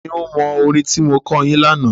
Ta ni ó mọ orin tí mo kọ́ yín lánàá?